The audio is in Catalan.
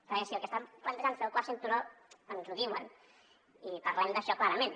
perquè si el que estan plantejant és fer el quart cinturó ens ho diuen i parlem d’això clarament